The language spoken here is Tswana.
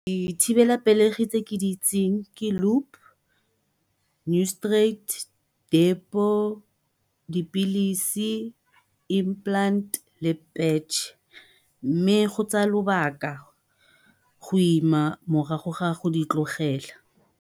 Dithibelapelegi tse ke di itseng ke Loop, Noristerate, Depo, dipilisi, Implant le Patch mme go tsaya lobaka go ima morago ga go di tlogela.